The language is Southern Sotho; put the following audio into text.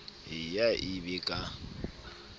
e ye e be ka